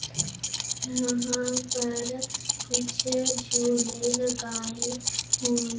यहां पर कुछ झूले लगाए हुए--